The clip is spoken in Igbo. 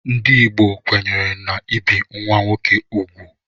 Ndị Igbo kwenyere n'ibi nwa nwoke úgwù.